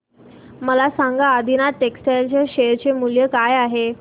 मला सांगा आदिनाथ टेक्स्टटाइल च्या शेअर चे मूल्य काय आहे